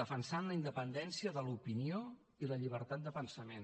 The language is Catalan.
defensant la independència de l’opinió i la llibertat de pensament